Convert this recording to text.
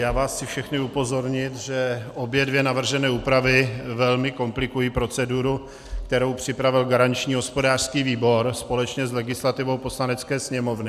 Já vás chci všechny upozornit, že obě dvě navržené úpravy velmi komplikují proceduru, kterou připravil garanční hospodářský výbor společně s legislativou Poslanecké sněmovny.